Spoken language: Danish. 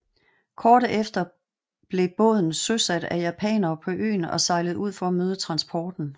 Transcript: Kort efter blev en båden søsat af japanere på øen og sejlede ud for at møde transporten